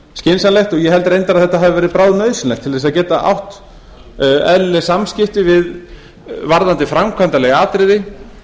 skynsamlegt og ég held reyndar að þetta hafi verið bráðnauðsynlegt til þess að geta átt eðlileg samskipti varðandi framkvæmdarleg atriði